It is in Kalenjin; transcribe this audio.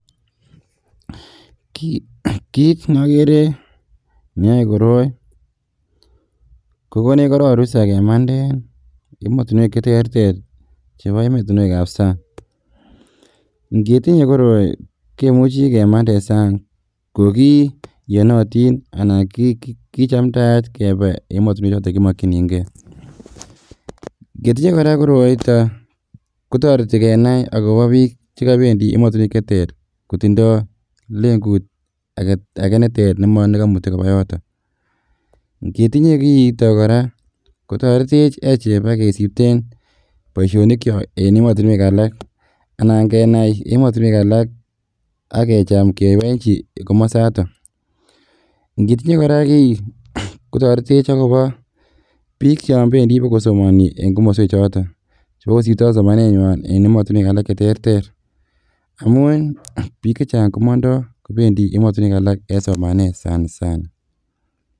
Kit nokere neyoe koroi kokonech korong rusa kemanden emotinuek cheterter chebo emotinuekab sang, ingitinye koroi kimuche kemanden sang kokiyonotin anan kichamdaat kebee emotinuek choton kimokchinigee, ketinye koraa koroito kotoreti kenai bik chekobendi emotinuek cheter kotindoo lengut agee neter nemonekomuti kobaa yoton, ingetinye kiito koraa kotoretech echek kebaa kisipten boisionikchok en emotinuek alak ak kecham kewechi komosoto, ingitinye koraa koroi kotoretech akobo bik chon bendi bokosomoni en komoswechoton chebo kosiptoo somanenyuan en emotinuek alak cheterter amun bik chechang komondo kobendi emotinuek alak en somanet sana sana.